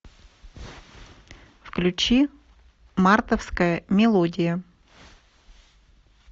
включи мартовская мелодия